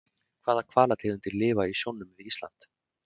Hvaða hvalategundir lifa í sjónum við Ísland?